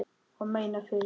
Ég meina, fyrir þig.